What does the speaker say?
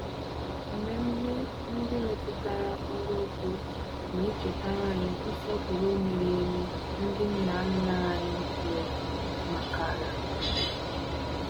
Mmemme ndị metụtara ọrụ ugbo na-echetara anyị nsọpụrụ miri emi ndị nna nna anyị nwere maka ala.